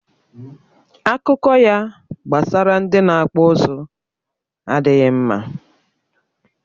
Akụkọ ya gbasara ndị na-akpụ ụzụ adịghị mma